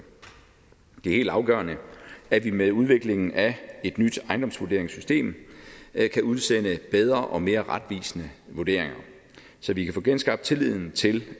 det er helt afgørende at vi med udviklingen af et nyt ejendomsvurderingssystem kan udsende bedre og mere retvisende vurderinger så vi kan få genskabt tilliden til